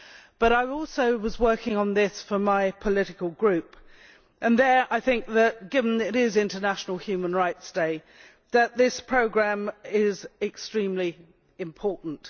But I was also working on this for my political group and there I think that, given that it is International Human Rights Day, talking about this programme is extremely important.